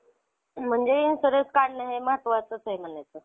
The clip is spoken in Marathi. हम्म तू भरलेला का?